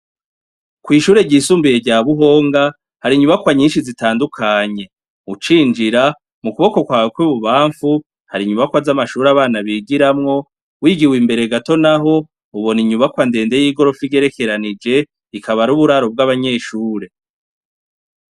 Kw'ishure ryisumbiye rya buhonga hari inyubakwa nyinshi zitandukanye ucinjira mu kuboko kwawe kw'bubamfu hari inyubakwa z'amashuri abana bigiramwo wigiwe imbere gato, naho ubona inyubakwandende y'igorofe igerekeranije ikaba ari uburaro bw'abanyeshure.